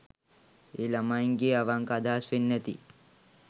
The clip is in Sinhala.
ඒ ළමයින්ගෙ අවංක අදහස් වෙන්න ඇති.